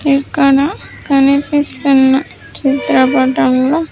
ఇక్కడ కనిపిస్తున్న చిత్రపటంలో.